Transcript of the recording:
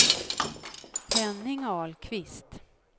Henning Ahlqvist